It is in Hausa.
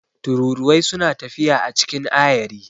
Tururuwai suna tafiya a cikin ayari.